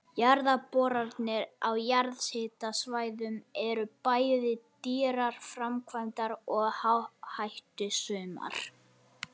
Jarðboranir á jarðhitasvæðum eru bæði dýrar framkvæmdir og áhættusamar.